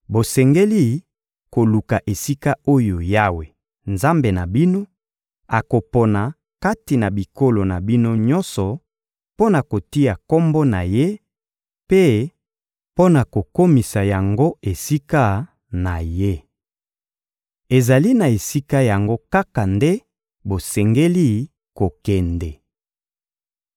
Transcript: Bosengeli koluka esika oyo Yawe, Nzambe na bino, akopona kati na bikolo na bino nyonso mpo na kotia Kombo na Ye mpe mpo na kokomisa yango esika na Ye. Ezali na esika yango kaka nde bosengeli kokende.